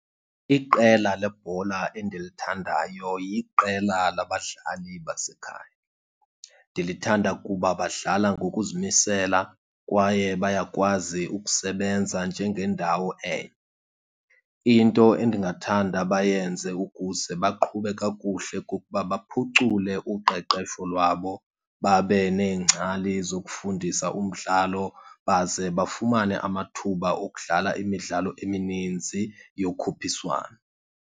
Iqela lebhola endilithandayo yiqela labadlali basekhaya. Ndilithanda kuba badlala ngokuzimisela kwaye bayakwazi ukusebenza njengendawo enye. Into endingathanda bayenze ukuze baqhube kakuhle kukuba baphucule uqeqesho lwabo, babe neengcali zokufundisa umdlalo, baze bafumane amathuba okudlala imidlalo emininzi yokhuphiswano.